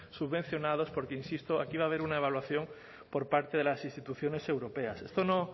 subvencionados porque insisto aquí va a haber una evaluación por parte de las instituciones europeas esto no